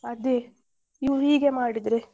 ಅದೇ ಇವ್ರು ಹೀಗೆ ಮಾಡಿದ್ರೆ.